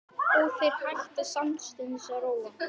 Og þeir hætta samstundis að róa.